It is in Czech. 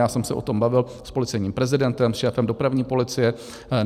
Já jsem se o tom bavil s policejním prezidentem, s šéfem dopravní policie.